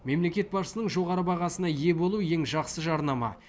мемлекет басшысының жоғары бағасына ие болу ең жақсы жарнама